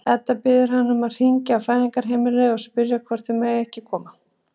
Edda biður hann um að hringja á Fæðingarheimilið og spyrja hvort þau megi ekki koma.